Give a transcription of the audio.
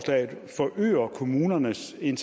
en